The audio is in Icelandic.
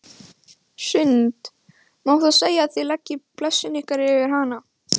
Hrund: Má þá segja að þið leggið blessun ykkar yfir hana?